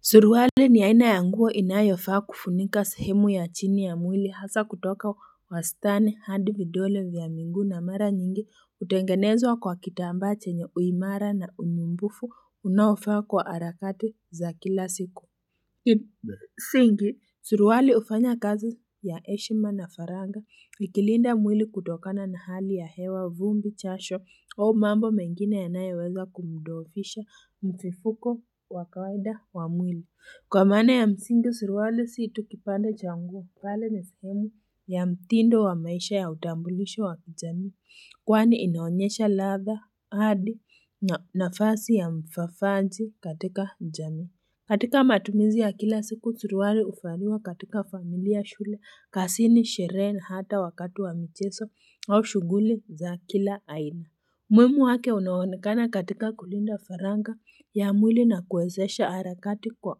Suruali ni aina ya nguo inayofaa kufunika sahemu ya chini ya mwili hasa kutoka wastani hadi vidole vya miguu na mara nyingi hutengenezwa kwa kitambaa chenye uimara na unyumbufu unaofaa kwa harakati za kila siku Kwa msingi, suruali hufanya kazi ya heshima na faragha ikilinda mwili kutokana na hali ya hewa vumbi jasho au mambo mengine yanayoweza kumdhoofisha mtifuko wa kawaida wa mwili Kwa maana ya msingi, suruali si tu kipande cha nguo bali ni sehemu ya mtindo wa maisha ya utambulisho wa jamii Kwani inaonyesha ladha hadi na nafasi ya mfafanji katika jamii katika matumizi ya kila siku, suruali huvaliwa katika familia shule, kazini, sherehe, na hata wakati wa mchezo au shughuli za kila aina. Muhimu wake unaonekana katika kulinda faragha ya mwili na kuwezesha harakati kwa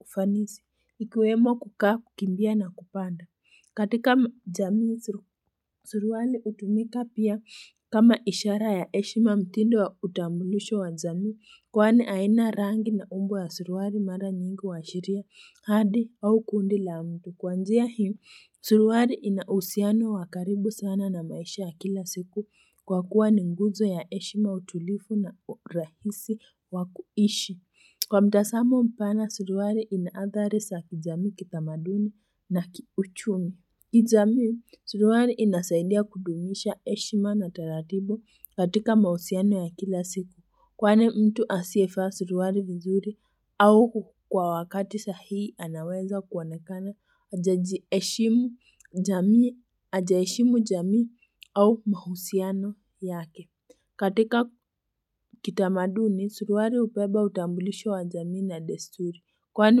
ufanisi, ikiwemo kukaa kukimbia na kupanda. Katika jamii, suruali hutumika pia kama ishara ya heshima mtindo wa utambulisho wa jamii kwani haina rangi na umbo ya suruali mara nyingu huashiria hadi au kundi la mtu. Kwanzia hii, suruali ina uhusiano wa karibu sana na maisha ya kila siku kwa kuwa ni nguzo ya heshima utulivu na urahisi wa kuishi. Kwa mtazamo mpana, suruali ina athari za kijamii kitamaduni na kiuchumi. Kijamii, suruali inasaidia kudumisha heshima na taratibu katika mahusiano ya kila siku. Kwani mtu asiyevaa suruali vizuri au kwa wakati sahihi anaweza kuonekana hajajiheshimu hajaheshimu jamii au mahusiano yake. Katika kitamaduni, suruali hubeba utambulisho wa jamii na desturi. Kwani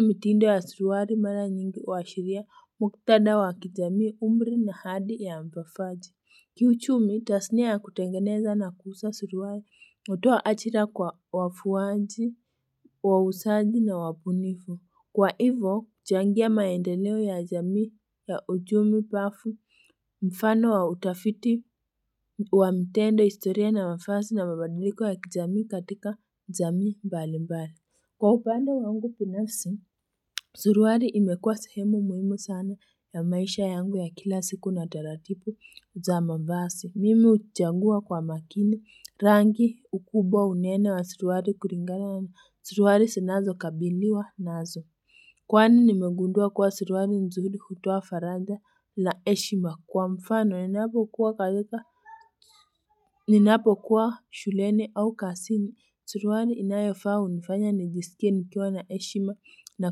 mitindo ya suruali mara nyingi huashiria muktada wa kijamii umri na hadi ya mpafaji. Kiuchumi, tasnia ya kutengeneza na kuuza suruali, hutoa ajira kwa wafuaji, wauzaji na wabunifu. Kwa hivo, huchangia maendeleo ya jamii ya uchumi pafu mfano wa utafiti wa mtendo historia na mavazi na mabadiliko ya kijamii katika jamii mbali mbali. Kwa upande wangu binafsi, suruali imekua sehemu muhimu sana ya maisha yangu ya kila siku na taratibu za mavazi. Mimi huchagua kwa makini rangi ukubwa unene wa suruali kulingana na suruali zinazokabiliwa nazo. Kwani nimegundua kuwa suruali nzuri hutoa faraja na heshima kwa mfano ninapokuwa katika Ninapokuwa shuleni au kazini, suruari inayofaa hunifanya nijisikie nikiwa na heshima na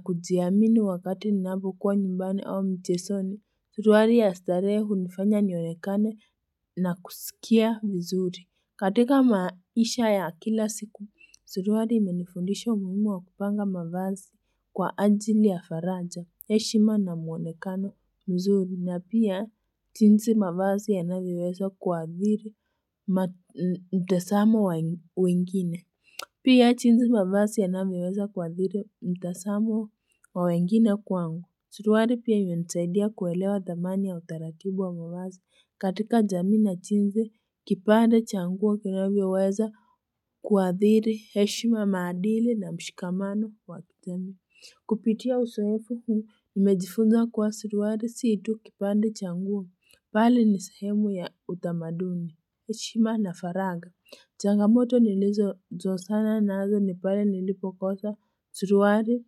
kujiamini wakati ninapokuwa nyumbani au mchezoni Suruali ya starehe hunifanya nionekane na kusikia vizuri katika maisha ya kila siku, suruali imenifundisha umuhimu wa kupanga mavazi kwa ajili ya faraja, heshima na mwonekano mzuri na pia jinsi mavazi yanavyoweza kuathiri mtazamo wa wengine. Pia jinsi mavasi yavyoweza kuathiri mtazamo wa wengine kwangu. Suruali pia imenisaidia kuelewa dhamani ya utaratibu wa mavasi. Katika jamii na jinsi, kipande cha nguo kinavyoweza kuathiri heshima maadili na mshikamano wa kijamii. Kupitia uzoefu, huu nimejifunza kuwa suruali si tu kipande cha nguo. Bali ni sehemu ya utamaduni. Heshima na faragha. Changamoto nilizozozana nazo ni pale nilipokosa suruali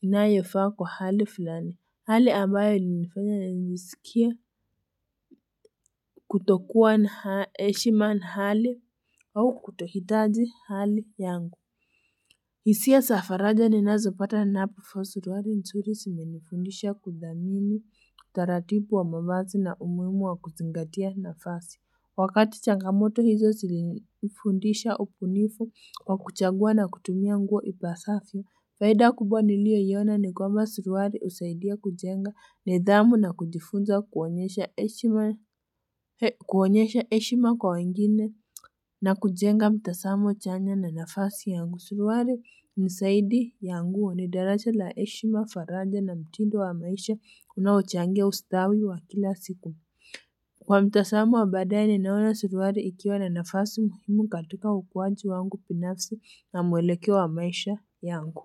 inayofaa kwa hali fulani. Hali ambayo ilinifanya nijisikie kutokuwa na heshima na hali au kutohitaji hali yangu. Hisia za faraja ninazopata napo vaa suruali nzuri zimenifundisha kudhamini taratibu wa mavazi na umuhimu wa kuzingatia nafasi. Wakati changamoto hizo zilinifundisha ubunifu wa kuchagua na kutumia nguo ipasavyp. Faida kubwa niliyoiona ni kwamba suruali husaidia kujenga nidhamu na kujifunza kuonyesha heshima kwa wengine na kujenga mtazamo chanya na nafasi yangu. Suruali ni zaidi ya nguo ni daraja la heshima faraja na mtindo wa maisha unaochangia ustawi wa kila siku. Kwa mtazamo wa baadae ninaona suruali ikiwa na nafasi muhimu katika ukuaji wangu binafsi na mwelekeo wa maisha yangu.